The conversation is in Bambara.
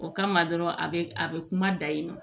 O kama dɔrɔn a bɛ a bɛ kuma da yen nɔ